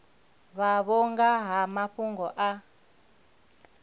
vhavho nga ha mafhungo a